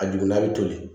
A dugumana bi toli